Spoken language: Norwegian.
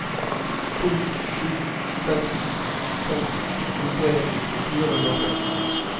to sju seks seks tjuetre fire hundre og tre